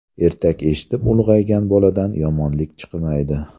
Ertak eshitib ulg‘aygan boladan yomonlik chiqmaydi.